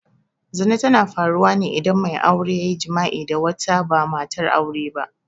Zina tana faruwa ne idan mai aure ya yi jima'i da wata ba matar aure ba.